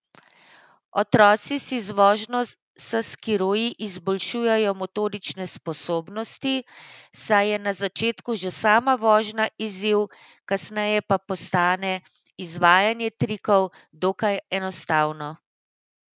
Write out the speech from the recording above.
Otroci si z vožnjo s skiroji izboljšujejo motorične sposobnosti, saj je na začetku že sama vožnja izziv, kasneje pa postane izvajanje trikov dokaj enostavno.